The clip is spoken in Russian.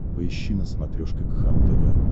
поищи на смотрешке кхлм тв